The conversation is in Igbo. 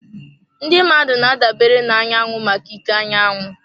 Ndị mmadụ na-adabere na anyanwụ maka ike anyanwụ.